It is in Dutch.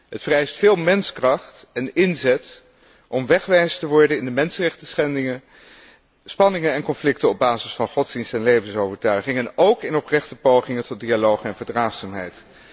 Het vereist veel menskracht en inzet om wegwijs te worden in de mensenrechtenschendingen, spanningen en conflicten op basis van godsdienst en levensovertuiging en ook in oprechte pogingen tot dialoog en verdraagzaamheid.